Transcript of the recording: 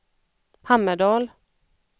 Hammerdal